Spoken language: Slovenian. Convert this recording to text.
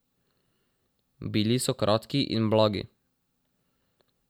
Bili so kratki in blagi.